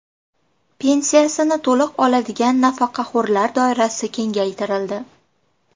Pensiyasini to‘liq oladigan nafaqaxo‘rlar doirasi kengaytirildi.